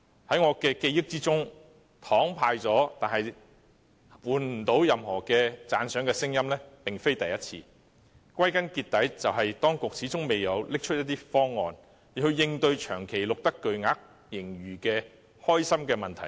在我的記憶中，派了"糖"卻換不到任何讚賞聲音並非第一次，歸根究底，只怪當局始終未能拿出方案，應對長期錄得巨額盈餘的開心問題。